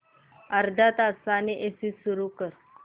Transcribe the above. अर्ध्या तासाने एसी सुरू कर